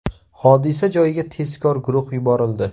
Hodisa joyiga tezkor guruh yuborildi.